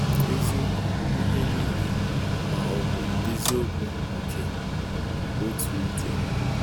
Eziokwu n'ihe nile ma-obụ eziokwu nke otu ụdị?